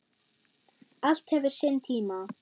Allt hefur sinn tíma.